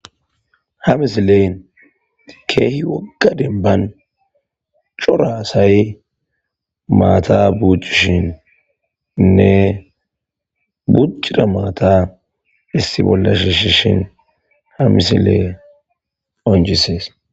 ha misileen keehi wogga demban cora asay maata buccushininne buccira maata issi bolla shiishin ha misiley qoncisees